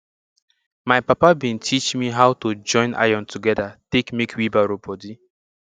my papa bin teach me how to join iron togedir take make wheelbarrow bodi